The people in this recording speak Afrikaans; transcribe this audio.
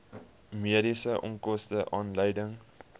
mediese onkoste aanleiding